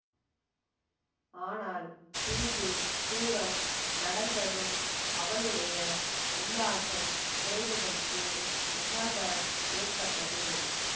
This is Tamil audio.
ஆனால் சிறிது தூரம் நடந்ததும் அவளுடைய உல்லாசம் குறைவதற்கு முகாந்தரம் ஏற்பட்டது